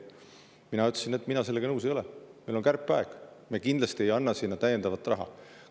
Mina ütlesin, et mina sellega nõus ei ole, meil on kärpeaeg, me kindlasti ei anna sinna täiendavat raha.